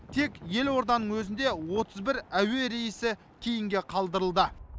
тек елорданың өзінде отыз бір әуе рейсі кейінге қалдырылды